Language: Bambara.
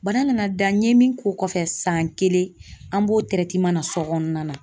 Bana nana da n ye min k'o kɔfɛ san kelen an b'o so kɔnɔna na.